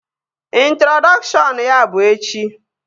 Introdọkshọn ya bụ echi